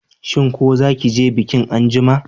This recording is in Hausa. Shin ko zaki je bikin anjima?